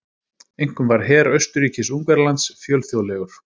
Einkum var her Austurríkis-Ungverjalands fjölþjóðlegur.